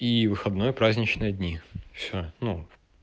и выходной и праздничные дни всё ну